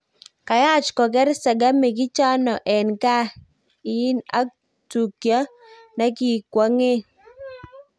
Kayach koker sengemik ichano en gaa iyin ak tukio nekikwangen